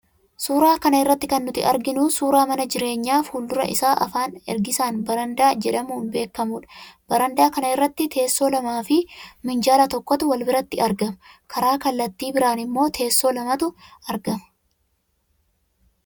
Suuraa kana rratti kan nuti arginu, suuraa mana jireenyaa fuuldura isaa afaan ergisaan 'barandaa' jedhamuun beekamudha. Barandaa kana irratti teessoo lamaa ffi minjaala tokkotu wal biratti argama. Karaa kallatti biraan immoo teessoo lamatu argama.